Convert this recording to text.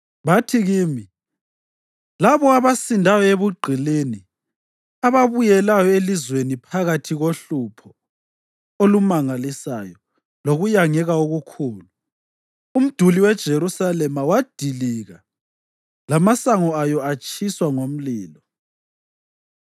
Bathi kimi, “Labo abasindayo ebugqilini ababuyelayo elizweni baphakathi kohlupho olumangalisayo lokuyangeka okukhulu. Umduli weJerusalema wadilika lamasango ayo atshiswa ngomlilo.”